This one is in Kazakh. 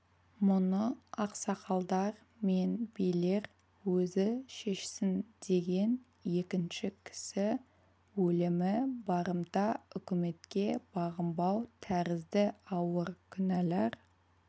мұны ақсақалдар мен билер өзі шешсін деген екіншісі кісі өлімі барымта үкіметке бағынбау тәрізді ауыр күнәлар